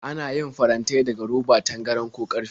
Ana yin farantai daga roba, tangaran, ko ƙarfe.